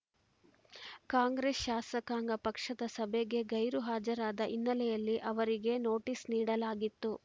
ಕಾಂಗ್ರೆಸ್‌ ಶಾಸಕಾಂಗ ಪಕ್ಷದ ಸಭೆಗೆ ಗೈರು ಹಾಜರಾದ ಹಿನ್ನೆಲೆಯಲ್ಲಿ ಅವರಿಗೆ ನೋಟಿಸ್‌ ನೀಡಲಾಗಿತ್ತು